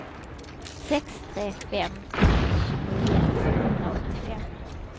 sex tre fem ett tjugonio tvåhundraåttiofem